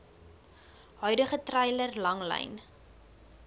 huidige treiler langlyn